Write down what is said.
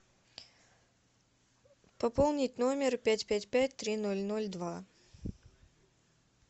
пополнить номер пять пять пять три ноль ноль два